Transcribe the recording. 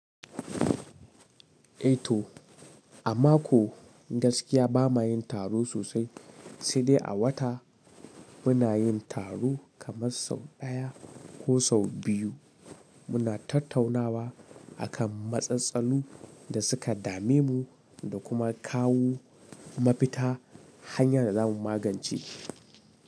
Eh to a mako gaskiya ba ma yin taro sosai, sai dai a wata muna yin taro kamar sau ɗaya ko sau biyu. Muna tattaunawa akan matsatsalu da suka dame mu da kuma kawo mafita hanyar da za mu magance shi.